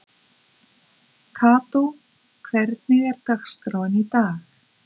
Kató, hvernig er dagskráin í dag?